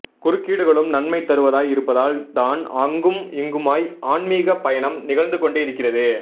குறுக்கீடுகளும் நன்மை தருவதாய் இருப்பதால் தான் அங்கும் இங்குமாய் ஆன்மீகப் பயணம் நிகழ்ந்து கொண்டே இருக்கிறது